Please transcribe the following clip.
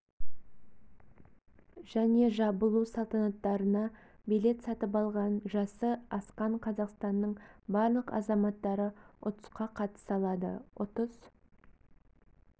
және жабылу салтанаттарына билет сатып алған жасы асқан қазақстанның барлық азаматтары ұтысқа қатыса алады ұтыс